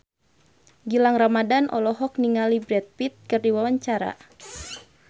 Gilang Ramadan olohok ningali Brad Pitt keur diwawancara